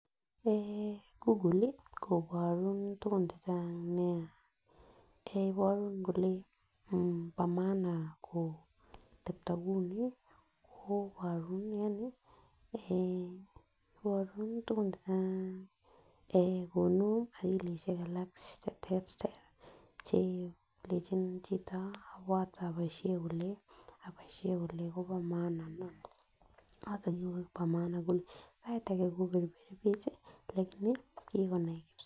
Eeh google li koboru tukuk chechang nia iboru kole bo maana ko kotepto kouni ko iboru Yani iboru tukuk chechang ah konu okilishek alak cheterter chelechij chito whatsapishek kiboishen kole Kobo maana niton any Kobo []maana []kole sait age kokeny ko